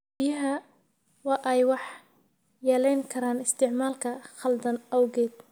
Biyaha waa ay waxyeeleyn karaan isticmaalka khaldan awgeed.